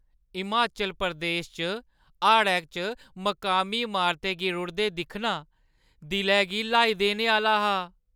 हिमाचल प्रदेश च हाड़ै च मकामी अमारतें गी रुढ़दे दिक्खना दिलै गी ल्हाई देने आह्‌ला हा।